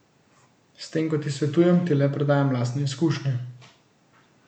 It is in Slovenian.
S tem, ko ti svetujem, ti le predajam lastne izkušnje.